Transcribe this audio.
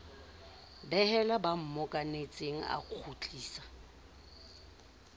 behela ba mmokanetseng a kgutlisa